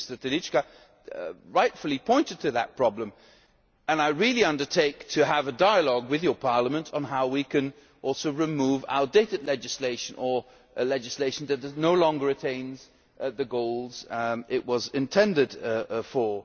years. I think Mr Telička rightly pointed to that problem, and I really undertake to have a dialogue with this Parliament on how we can also remove outdated legislation or legislation that no longer attains the goals it was intended